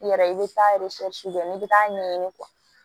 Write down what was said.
I yɛrɛ i bɛ taa kɛ n'i bɛ taa ɲɛɲini